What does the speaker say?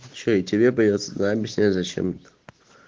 что и тебе придётся да объяснять зачем это